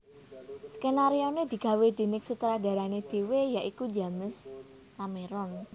Sekenarione digawé denig sutradarane dhewe ya iku James Cameron